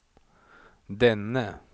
denne